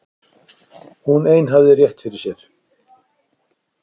Hún ein hafði rétt fyrir sér.